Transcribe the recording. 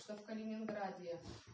что калининграде